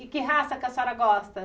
E que raça que a senhora gosta?